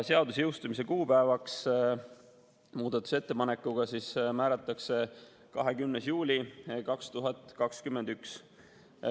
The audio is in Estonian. Seaduse jõustumise kuupäevaks määratakse muudatusettepanekuga 20. juuli 2021.